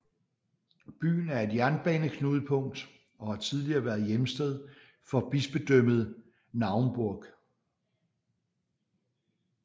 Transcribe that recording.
Byen er et jernbaneknudpunkt og har tidligere været hjemsted for Bispedømmet Naumburg